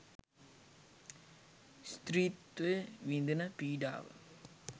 ස්ත්‍රීත්වය විඳින පීඩාව